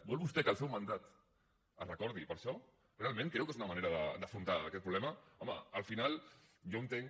vol vostè que el seu mandat es recordi per això realment creu que és una manera d’afrontar aquest problema home al final jo entenc